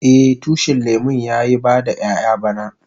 Eh, tushin lemun ya yi bada ƴayan bana.